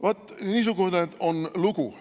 Vaat niisugune on lugu.